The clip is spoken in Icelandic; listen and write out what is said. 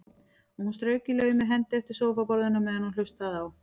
Og hún strauk í laumi hendi eftir sófaborðinu meðan hún hlustaði á